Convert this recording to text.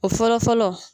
O fɔlɔ fɔlɔ